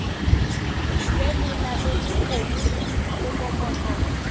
be le nametše kgomo mokokotlo